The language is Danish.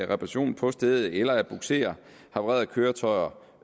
reparation på stedet eller at bugsere havarerede køretøjer